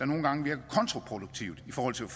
nogle gange virker kontraproduktivt i forhold til